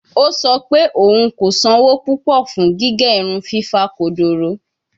O sọ pe oun ko sanwo pupọ fun gige irun fifa kodoro